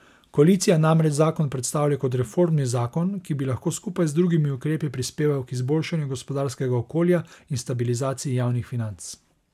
Koalicija namreč zakon predstavlja kot reformni zakon, ki bi lahko skupaj z drugimi ukrepi prispeval k izboljšanju gospodarskega okolja in stabilizaciji javnih financ.